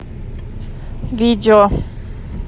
видео